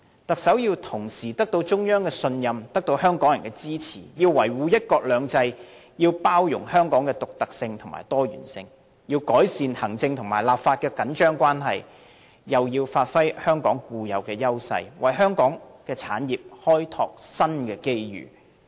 特首要同時得到中央信任和香港人支持，要維護"一國兩制"，要包容香港的獨特和多元，要改善行政立法的緊張關係，又要發揮香港固有優勢，為香港產業開拓新機遇。